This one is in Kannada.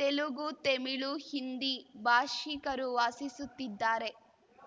ತೆಲುಗು ತೆಮಿಳು ಹಿಂದಿ ಭಾಷಿಕರು ವಾಸಿಸುತ್ತಿದ್ದಾರೆ